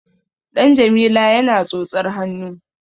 Ɗan Jamila yana tsotsar hannu.